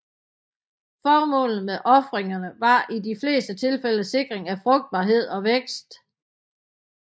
Formålet med ofringerne var i de fleste tilfælde sikring af frugtbarhed og vækst